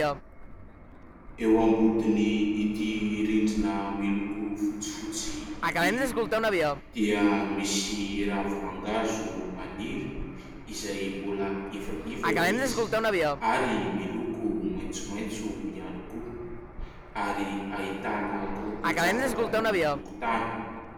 Eo ambodin'ity rindrina miloko fotsifotsy ity dia misy ravi-mangahazo maniry izay mbola ivaiva izy ary miloko maintsomaintso ihany koa ary ahitana korontan-javatra ny tokontany.